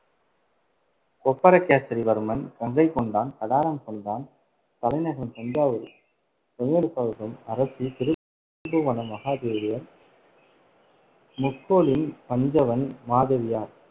கொப்பரகேசரி வர்மன், கங்கை கொண்டான், கடாரம் கொண்டான் தலைநகரம் தஞ்சாவூர் அரசி திருபுவனம் மகாதேவியர் முக்கோலின் பஞ்சவன் மாதேவியார்